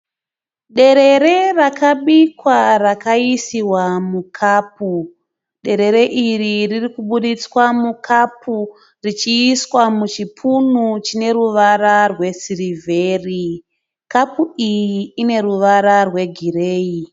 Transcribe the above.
Derere rakabikwa rakaisiwa mukapu. Derere iri ririkuburitswa mu kapu richiiswa muchipunu chine ruvara rwe sirivheri. Kapu iyi ine ruvara rwegireyi.